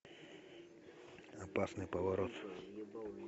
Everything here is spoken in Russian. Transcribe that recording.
опасный поворот